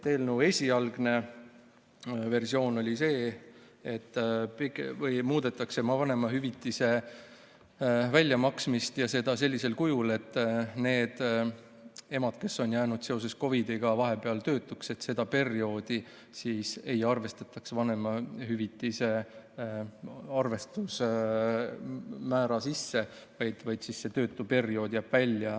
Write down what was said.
Eelnõu esialgses versioonis oli nii, et muudetakse vanemahüvitise väljamaksmist ja seda sellisel kujul, et nende emade puhul, kes on jäänud seoses COVID‑iga töötuks, seda perioodi ei arvestataks vanemahüvitise arvestusmäära sisse, vaid see töötuperiood jääks välja.